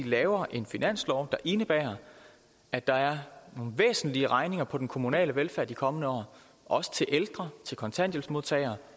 laver en finanslov der indebærer at der er nogle væsentlige regninger på den kommunale velfærd i de kommende år også til ældre kontanthjælpsmodtagere